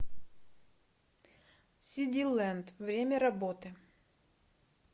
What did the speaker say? сиди лэнд время работы